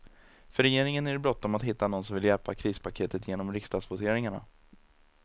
För regeringen är det bråttom att hitta någon som vill hjälpa krispaketet genom riksdagsvoteringarna.